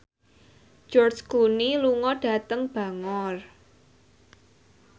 George Clooney lunga dhateng Bangor